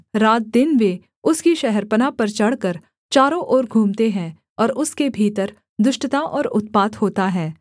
रातदिन वे उसकी शहरपनाह पर चढ़कर चारों ओर घूमते हैं और उसके भीतर दुष्टता और उत्पात होता है